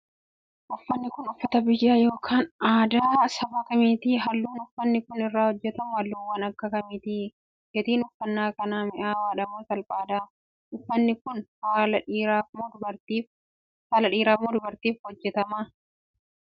Uffanni kun, uffata biyya yokin aadaa saba kamiiti? Haalluun uffanni kun irraa hojjatame haalluuuwwan akka kamiiti? Gatiin uffannaa kanaa mi'aawaadha moo salphaadha? Uffanni kun, saala dhiiraaf moo dubartiif ta'a? Uffanni kun ,meeshaalee dheedhii akka kamii faa irraa hojjatama?